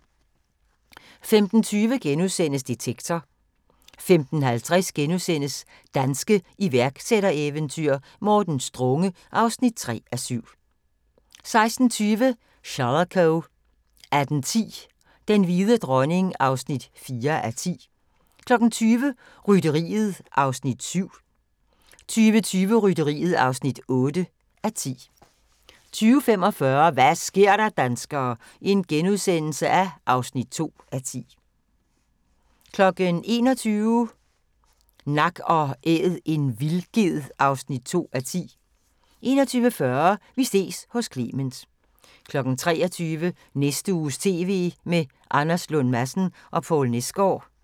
15:20: Detektor * 15:50: Danske iværksættereventyr - Morten Strunge (3:7)* 16:20: Shalako 18:10: Den hvide dronning (4:10) 20:00: Rytteriet (7:10) 20:20: Rytteriet (8:10) 20:45: Hva' sker der, danskere? (2:10)* 21:00: Nak & Æd – en vildged (2:10) 21:40: Vi ses hos Clement 23:00: Næste uges TV med Anders Lund Madsen og Poul Nesgaard